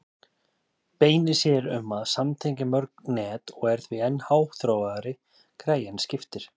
Beinir sér um að samtengja mörg net og er því enn háþróaðri græja en skiptir.